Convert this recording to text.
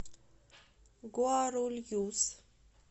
гуарульюс